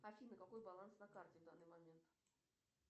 афина какой баланс на карте в данный момент